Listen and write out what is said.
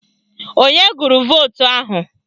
Onye gụrụ vootu ahụ?